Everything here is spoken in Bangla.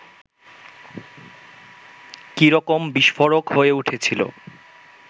কী রকম বিস্ফোরক হয়ে উঠেছিল